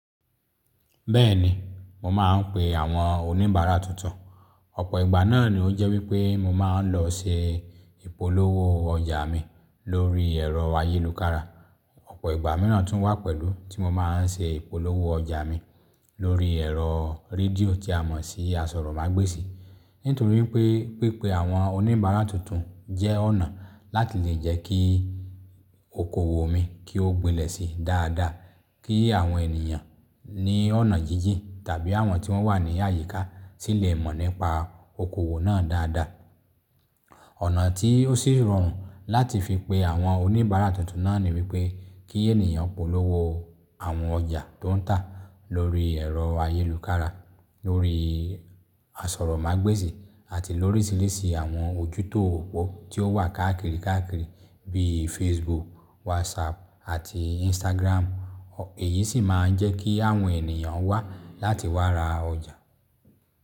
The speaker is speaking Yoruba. Bẹ́ẹ̀ni, mo máa ń pe àwọn oníbàárà tuntun. Ọ̀pọ̀ ìgbà náà ni ó jẹ́ wípé mo máa ń lọ se ìpolówó ọjà mi lórí ẹ̀rọ ayélukára. Ọ̀pọ̀ ìgbà míràn tún wà pẹ̀lú tí mo máa ń ṣe ìpolówó ọjà mi lórí ẹ̀rọ rédíò tí a mọ̀ sí Asọ̀rọ̀mágbèsì. Nítorí pé, pípé àwọn oníbàárà tuntun jẹ́ ọ̀nà láti lè jẹ́ kí okoòwò mi kí ó gbilẹ̀ sí dáadáa. Kí àwọn ènìyàn ní ọ̀nà jíjìn tàbí àwọn tí wọ́n wà ní àyíká sì lè mọ̀ nípa okoòwò náà dáadáa. Ọ̀nà tí ó sì rọrùn láti fi pe àwọn oníbàárà tuntun náà ni wípé kí ènìyàn polówó àwọn ọjà tó ń tà lórí ẹ̀rọ ayélukára, lórí Asọ̀rọ̀mágbèsì àti lórísirisi àwọn ojú òpó tó wà káàkiri káàkiri bí i Facebook, WhatsApp àti Instagram. Èyí sì máa ń jẹ́ kí àwọn ènìyàn wá láti wá ra ọjà.